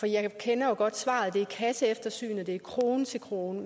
jeg kender jo godt svaret det er kasseeftersynet det er krone til krone